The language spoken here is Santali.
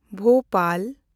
ᱵᱷᱳᱯᱟᱞ